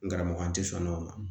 N karamɔgɔ n te sɔn nɔ